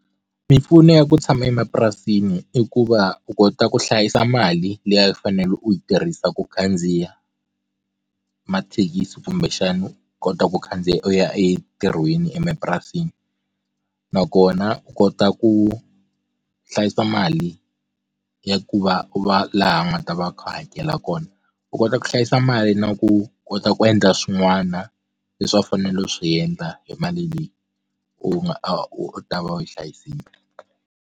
Mimpfuno ya ku tshama emapurasini i ku va u kota ku hlayisa mali liya u fanele u yi tirhisa ku khandziya mathekisi kumbexana u kota ku khandziya u ya entirhweni emapurasini nakona u kota ku hlayisa mali ya ku va u va laha u nga ta va a kha a hakela kona u kota ku hlayisa mali na ku kota ku endla swin'wana leswi a mfanelo swi endla hi mali leyi u nga a u ta va u yi hlayisile.